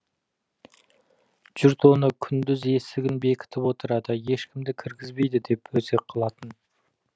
жұрт оны күндіз есігін бекітіп отырады ешкімді кіргізбейді деп өсек қылатын